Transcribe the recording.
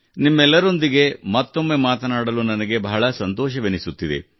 ನಿಮ್ಮೆಲ್ಲರೊಂದಿಗೆ ಮತ್ತೊಮ್ಮೆ ಮಾತನಾಡಿ ನನಗೆ ಬಹಳ ಸಂತೋಷವೆನಿಸುತ್ತಿದೆ